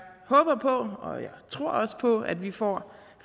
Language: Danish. håber på og jeg tror også på at vi får